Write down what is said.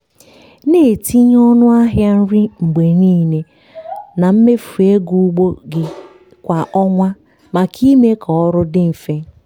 na-etinye ọnụ ahịa nri mgbe niile na mmefu ego ugbo gị kwa ọnwa maka ime ka ọrụ dị mfe.